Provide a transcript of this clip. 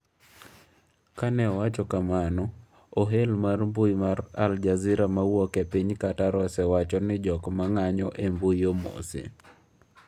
Kane owacho kamano, ohel mar mbui mar Al Jazeera mawuok e piny Qatar osewacho ni jok ma ng'anjo e mbui omose.